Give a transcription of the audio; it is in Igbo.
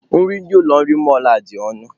Nri ndị ụlọ nri mọlụ a adị ọnụ?